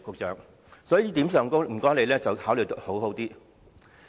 在這一點上，局長請你好好考慮。